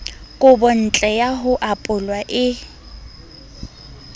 kobontle ya ho apolwa e